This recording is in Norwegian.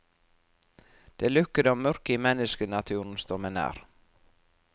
Det lukkede og mørke i menneskenaturen står meg nær.